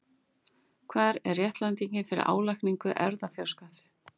Hver er réttlætingin fyrir álagningu erfðafjárskatts?